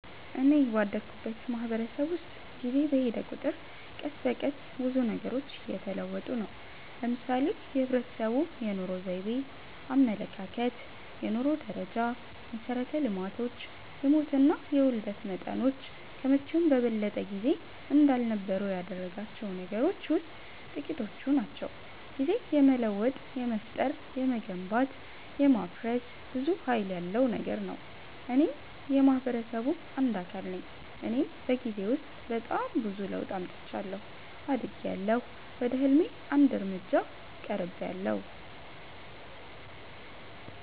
እኔ ባደኩበት ማህበረሰብ ውስጥ ጊዜ በሔደ ቁጥር ቀስ በቀስ ብዙ ነገሮች እየተለወጡ ነው። ለምሳሌ የህብረተሰቡ የኑሮ ዘይቤ፣ አመለካከት፣ የኑሮ ደረጃ፣ መሠረተ ልማቶች፣ የሞትና የውልደት መጠኖች ከመቼውም በበለጠ ጊዜ እንዳልነበሩ ያደረጋቸው ነገሮች ውሥጥ ጥቂቶቹ ናቸው። ጊዜ የመለወጥ፣ የመፍጠር፣ የመገንባት፣ የማፍረስ ብዙ ሀይል ያለው ነገር ነው። እኔም የማህበረሰቡ አንድ አካል ነኝ እኔም በጊዜ ውስጥ በጣም ብዙ ለውጥ አምጥቻለሁ። አድጊያለሁ፣ ወደ ህልሜ አንድ እርምጃ ቀርቤያለሁ።